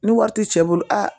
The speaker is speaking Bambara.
Ni wari ti cɛ bolo aa